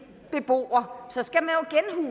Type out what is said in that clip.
beboer